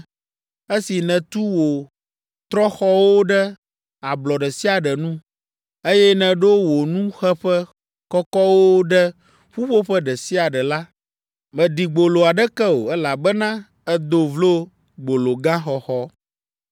Esi nètu wo trɔ̃xɔwo ɖe ablɔ ɖe sia ɖe nu, eye nèɖo wò nuxeƒe kɔkɔwo ɖe ƒuƒoƒe ɖe sia ɖe la, mèɖi gbolo aɖeke o, elabena èdo vlo gbologaxɔxɔ.